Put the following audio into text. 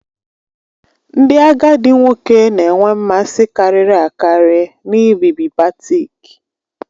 Ndị agadi nwoke na-enwe mmasị karịri akari n'ibibi batik